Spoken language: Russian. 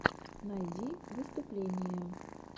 найди выступления